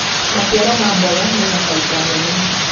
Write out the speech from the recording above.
maciaro ma mboga mena baida nene